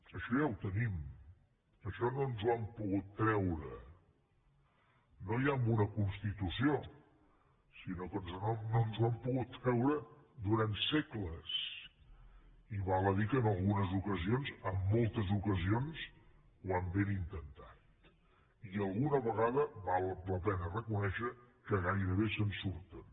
això ja ho tenim això no ens ho han pogut treure no ja amb una constitució sinó que no ens ho han pogut treure durant segles i val a dir que en algunes ocasions en moltes ocasions ho han ben intentat i alguna vegada val la pena reconèixer que gairebé se’n surten